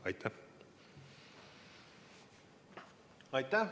Aitäh!